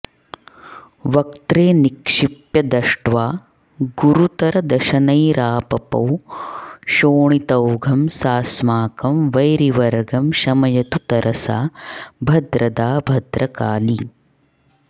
वक्त्रे निक्षिप्य दष्ट्वा गुरुतरदशनैरापपौ शोणितौघं सास्माकं वैरिवर्गं शमयतु तरसा भद्रदा भद्रकाली